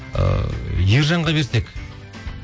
ыыы ержанға берсек